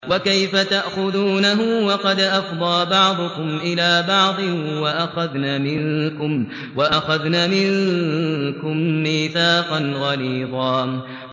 وَكَيْفَ تَأْخُذُونَهُ وَقَدْ أَفْضَىٰ بَعْضُكُمْ إِلَىٰ بَعْضٍ وَأَخَذْنَ مِنكُم مِّيثَاقًا غَلِيظًا